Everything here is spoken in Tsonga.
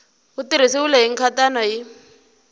wu tirhisiwile hi nkhaqato hi